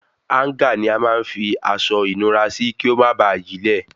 Háńgà ní a máa ń fi aṣọ ìnura sí kí o má bà yílẹ̀